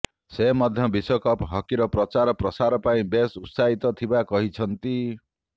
ସେ ମଧ୍ୟ ବିଶ୍ବକପ ହକିର ପ୍ରଚାର ପ୍ରସାର ପାଇଁ ବେଶ ଉତ୍ସାହିତ ଥିବା କହିଛନ୍ତି